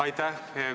Aitäh!